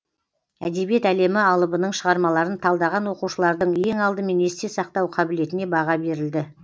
әдебиет әлемі алыбының шығармаларын талдаған оқушылардың ең алдымен есте сақтау қабілетіне баға берілді